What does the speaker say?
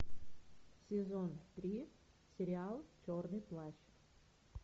сезон три сериал черный плащ